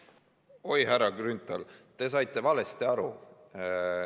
Oi, härra Grünthal, te saite valesti aru.